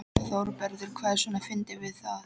ÞÓRBERGUR: Hvað er svona fyndið við það?